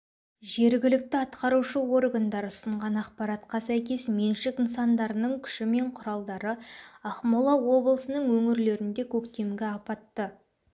жергілікті атқарушы органдар ұсынған ақпаратқа сәйкес меншік нысандарының күші мен құралдары ақмола облысының өңірлерінде көктемгі апатты